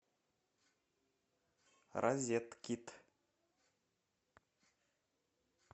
розеткид